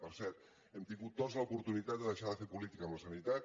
per cert hem tingut tots l’oportunitat de deixar de fer política amb la sanitat